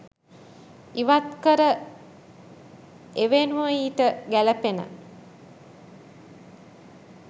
ඉවත්කර එවෙනුව ඊට ගැලපෙන